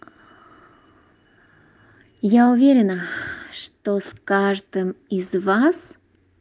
я уверена что с каждым из вас